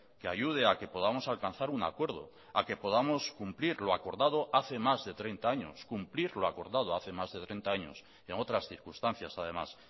que ayude a que podamos alcanzar un acuerdo a que podamos cumplir lo acordado hace más de treinta años cumplir lo acordado hace más de treinta años en otras circunstancias además